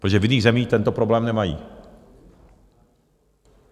Protože v jiných zemích tento problém nemají.